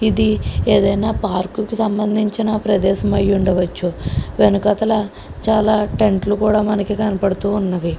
ఇది ఏదైనా పార్కుకి సంబంధించిన ప్రదేశం అయ్యుండవచ్చు వెనకాతల చాలా టెంట్లు కూడా మనకి కనబడుతూ ఉన్నవి.